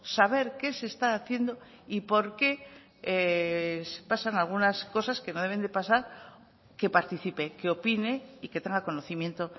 saber qué se está haciendo y por qué pasan algunas cosas que no deben de pasar que participe que opine y que tenga conocimiento